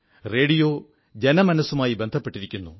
radio ജനമനസ്സുമായി ബന്ധപ്പെട്ടിരിക്കുന്നു